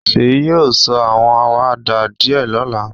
Seyi yóò sọ àwọn àwàdà díẹ̀ lọ́la